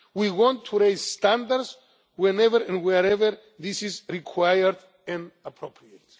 We want to raise standards whenever and wherever this is required and appropriate.